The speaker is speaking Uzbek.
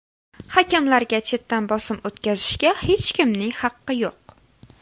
Hakamlarga chetdan bosim o‘tkazishga hech kimning haqqi yo‘q.